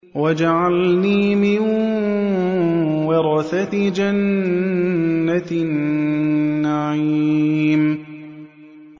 وَاجْعَلْنِي مِن وَرَثَةِ جَنَّةِ النَّعِيمِ